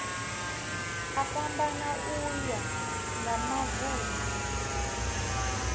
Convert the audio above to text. a fhambana uya nga mavun